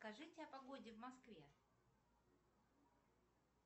скажите о погоде в москве